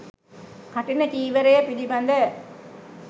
කඨින චීවරය පිළිබඳ